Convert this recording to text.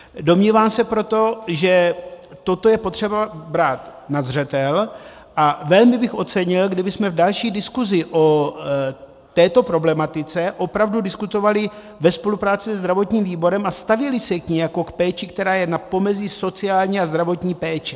Domnívám se proto, že toto je potřeba brát na zřetel, a velmi bych ocenil, kdybychom v další diskuzi o této problematice opravdu diskutovali ve spolupráci se zdravotním výborem a stavěli se k ní jako k péči, která je na pomezí sociální a zdravotní péče.